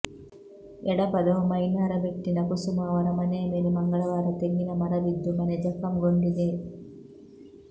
ಎಡಪದವು ಮಯ್ನಾರಬೆಟ್ಟಿನ ಕುಸುಮಾ ಅವರ ಮನೆಯ ಮೇಲೆ ಮಂಗಳವಾರ ತೆಂಗಿನ ಮರ ಬಿದ್ದು ಮನೆ ಜಖಂಗೊಂಡಿದೆ